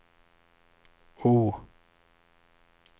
O